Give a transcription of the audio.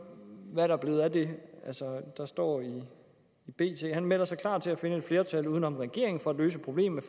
hvad der er blevet af det der stod i bt han melder sig klar til at finde et flertal uden om regeringen for at løse problemet